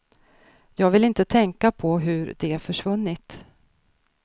Jag vill inte tänka på hur de försvunnit.